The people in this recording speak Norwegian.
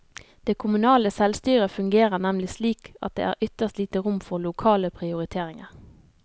Det kommunale selvstyret fungerer nemlig slik at det er ytterst lite rom for lokale prioriteringer.